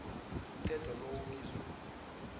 umthetho lo ubizwa